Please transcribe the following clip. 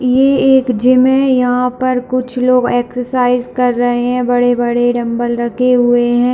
ये एक जिम है यहां पर कुछ लोग एक्सरसाइज कर रहे है बड़े-बड़े डंबल रखे हुए है।